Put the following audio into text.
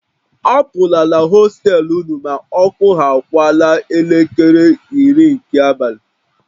A pụla na hostel ụnụ ma ọkụhakwaala elekere iri nke abalị!